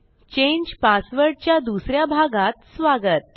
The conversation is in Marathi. चांगे पासवर्ड च्या दुस या भागात स्वागत